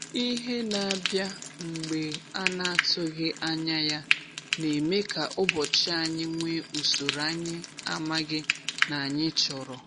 Ihe na-abịa mgbe a n'atụghị anya ya, na-eme ka ụbọchị anyị nwee usoro anyị amaghi na anyị chọrọ.